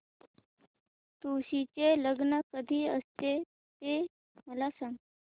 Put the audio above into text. तुळशी चे लग्न कधी असते ते मला सांग